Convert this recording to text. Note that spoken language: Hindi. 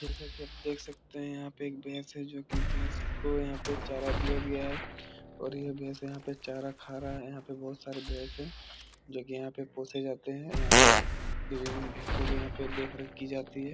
जैसा की आप देख सकते हैं यहाँ पे एक भैंस है जो की भैंस को यहाँ पे चारा दिया गया है और यह भैंस यहाँ पे चारा खा रहा है । यहाँ पे बहुत सारे भैंस हैं जो की यहाँ पोसे जाते हैं । यहाँ पे इन भैंसो को यहाँ पे देख-रेख की जाती है ।